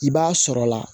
I b'a sɔrɔ la